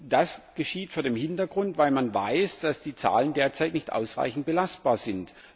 Das geschieht vor dem Hintergrund, dass man weiß, dass die Zahlen derzeit nicht ausreichend belastbar sind.